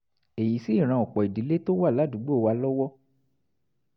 èyí sì ran ọ̀pọ̀ ìdílé tó wà ládùúgbò wa lọ́wọ́